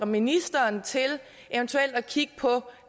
ministeren til at kigge på